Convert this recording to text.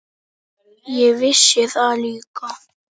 Ég vissi það líka.